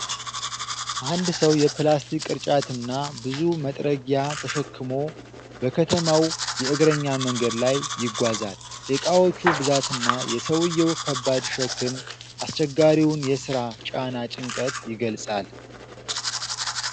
አንድ ሰው የፕላስቲክ ቅርጫትና ብዙ መጥረጊያ ተሸክሞ በከተማው የእግረኛ መንገድ ላይ ይጓዛል። የዕቃዎች ብዛትና የሰውዬው ከባድ ሸክም፣ አስቸጋሪውን የሥራ ጫና ጭንቀት ይገልጻል።